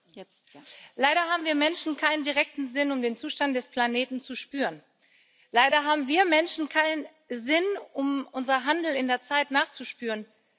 Frau Präsidentin! Leider haben wir Menschen keinen direkten Sinn, um den Zustand des Planeten zu spüren. Leider haben wir Menschen keinen Sinn, um unserem Handeln in der Zeit nachzuspüren.